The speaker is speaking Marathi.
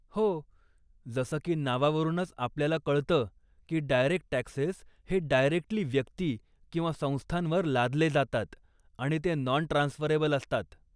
हो, जसं की नावावरूनच आपल्याला कळतं की डायरेक्ट टॅक्सेस हे डायरेक्टली व्यक्ती किंवा संस्थांवर लादले जातात आणि ते नॉन ट्रान्सफरेबल असतात.